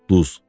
Duz.